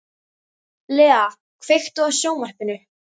Lea, kveiktu á sjónvarpinu.